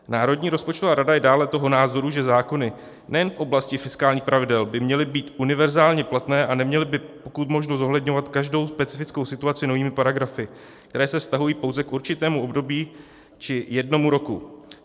Národní rozpočtová rada je dále toho názoru, že zákony nejen v oblasti fiskálních pravidel by měly být univerzálně platné a neměly by pokud možno zohledňovat každou specifickou situaci novými paragrafy, které se vztahují pouze k určitému období či jednomu roku.